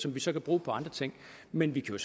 vi så bruge på andre ting men vi kan